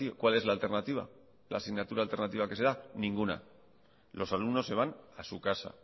cuál es la alternativa la asignatura alternativa que se da ninguna los alumnos se van a su casa